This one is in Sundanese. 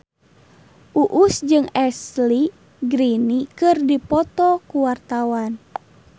Uus jeung Ashley Greene keur dipoto ku wartawan